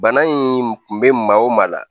Bana in kun bɛ maa o maa la